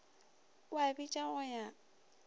o a bitša go ya